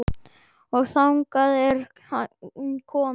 Og þangað er hann kominn.